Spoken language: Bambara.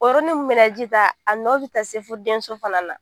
O yɔrɔ ni min bɛ na ji ta, a nɔ bɛ taa se fo den so fana na.